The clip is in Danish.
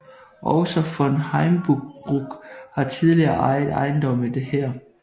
Også von Heimbruch har tidligere ejet ejendomme her